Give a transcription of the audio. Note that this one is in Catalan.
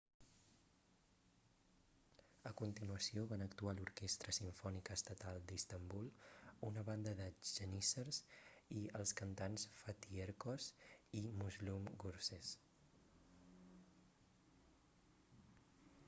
a continuació van actuar l'orquestra simfònica estatal d'istanbul una banda de geníssers i els cantants fatih erkoç i müslüm gürses